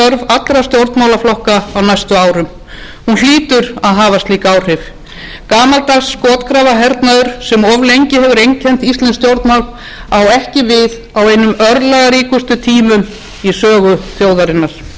allra stjórnmálaflokka á næstu árum hún hlýtur að hafa slík áhrif gamaldags skotgrafarhernaður sem of lengi hefur einkennt íslensk stjórnmál á ekki við á einum örlagaríkustu tímum í sögu þjóðarinnar það er kallað eftir þjóðarsamstöðu og það